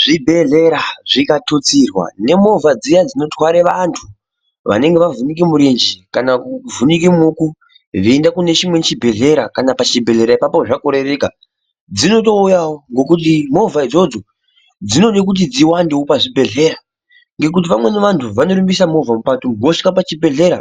Zvibhedhlera zvikatutsirwa nemovha dziya dzinotware vantu vanenge vavhunike mirenje kana kuvhunike maoko veiende kune chimwe chibhedhlera kana pachibhedhlera ipapo zvakorereka dzinotouyawo nokuti movha idzodzo dzinode kuti dziwande pazvibhedhlera nokuti, vamweni vantu vanorumbisa movha mukati umo vosvika pachibhedhlera